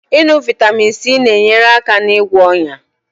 Ịṅụ Vaitamin C na-enyere aka na-ịgwọ onya